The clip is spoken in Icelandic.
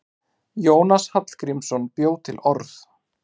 Jónas Hallgrímsson bjó til orð.